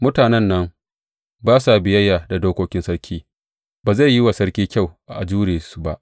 Mutanen nan ba sa biyayya da dokokin sarki; ba zai yi wa sarki kyau a jure su ba.